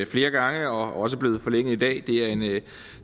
flere gange og også blevet forlænget i dag